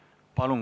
Palun!